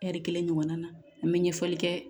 Ɛri kelen ɲɔgɔnna na an be ɲɛfɔli kɛ